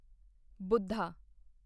Buddha